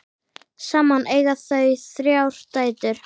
Saman eiga þau þrjár dætur.